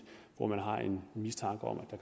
hvor man har en mistanke om at